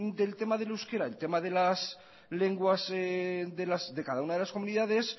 del tema del euskera el tema de las lenguas de cada una de las comunidades